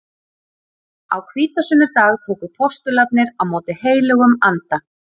Á hvítasunnudag tóku postularnir á móti heilögum anda.